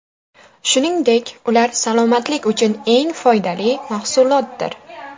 Shuningdek, ular salomatlik uchun eng foydali mahsulotdir.